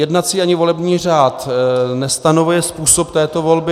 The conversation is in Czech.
Jednací ani volební řád nestanovuje způsob této volby.